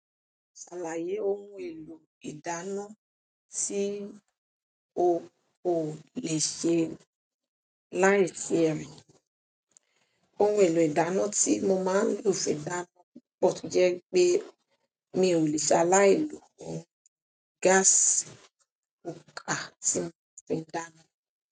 Ṣàlàyé ohun èlò ìdáná tí o ò lè ṣe láì sí ẹ̀. Ohun èlò ìdáná tí mo máa ń lò fi dáná pọ́ọ̀ti jẹ́ pé mi ò lè ṣaláì èlò gaasi ǹkàn tin fin dáná.